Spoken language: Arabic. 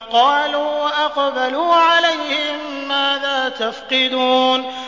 قَالُوا وَأَقْبَلُوا عَلَيْهِم مَّاذَا تَفْقِدُونَ